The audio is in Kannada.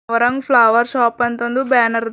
ವರಂಗ್ ಫ್ಲವರ್ ಶಾಪ್ ಅಂತ ಒಂದು ಬ್ಯಾನರ್ ಅದ.